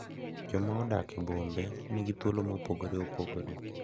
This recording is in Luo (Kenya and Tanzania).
Joma odak e bombe nigi thuolo mopogore opogore